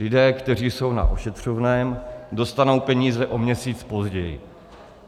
Lidé, kteří jsou na ošetřovném, dostanou peníze o měsíc později.